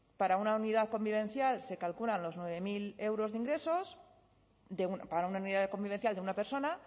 para una unidad convivencial se calculan los nueve mil euros de ingresos para una unidad convivencial de una persona